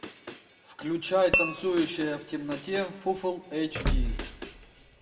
включай танцующая в темноте фуфл эйч ди